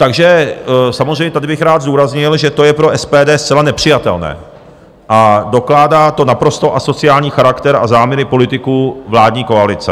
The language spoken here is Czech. Takže samozřejmě tady bych rád zdůraznil, že to je pro SPD zcela nepřijatelné a dokládá to naprosto asociální charakter a záměry politiků vládní koalice.